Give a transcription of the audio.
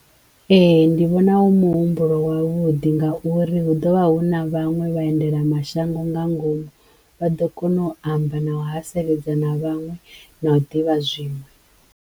Ee ndi vhona u muhumbulo wavhuḓi ngauri hu ḓovha hu na vhaṅwe vhaendela mashango nga ngomu vha ḓo kono u amba na u haseledza na vhaṅwe na u ḓivha zwima.